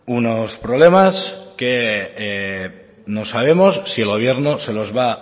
unos problemas que no sabemos si el gobierno se los va